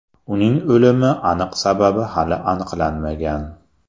Uning o‘limi aniq sababi hali aniqlanmagan.